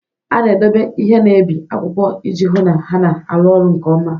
A na-edobe ihe na-ebi akwụkwọ iji hụ na ha na-arụ ọrụ nke ọma.